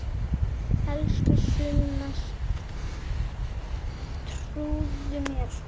Elsku Sunna, trúðu mér!